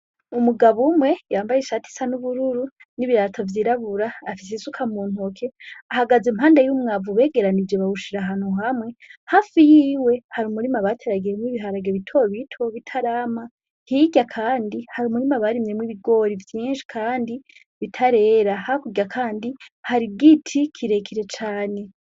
Umugabo umwe yambaye ishati isa n'ubururu n'ibirato vyirabura afise isuka muntoke ahagaze impande y'umwavu begeranije bawushira ahantu hamwe, hafi yiwe hari umurima bateragiyemwo ibiharage bitobito bitarama hirya kandi hari umurima barimyemwo ibigori vyinshi Kandi bitarera, hakurya kandi hari igiti kirekire cane.